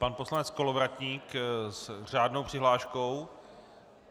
Pan poslanec Kolovratník s řádnou přihláškou.